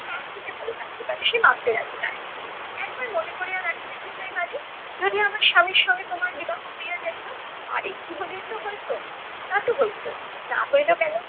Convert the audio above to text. তার থেকে ভালো থাকতে পারে সে মানতে রাজি নয়। একবার মনে কোরিয়া দেখো দেখি ভাই বালি, যদি আমার স্বামীর সাথে তোমার বিবাহ হইয়া যাইত আর একটু হলেই তো হইত। তা তো হইতই, না হইল কেন?